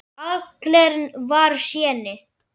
Allen var séní.